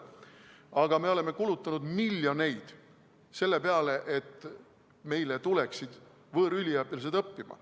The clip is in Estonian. Aga me oleme kulutanud miljoneid selle peale, et meile tuleksid võõrüliõpilased õppima.